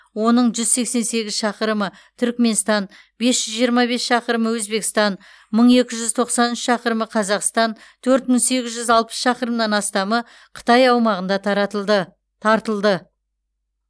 оның жүз сексен сегіз шақырымы түрікменстан бес жүз жиырма бес шақырымы өзбекстан мың екі жүз тоқсан үш шақырымы қазақстан төрт мың сегіз жүз алпыс шақырымнан астамы қытай аумағында тартылды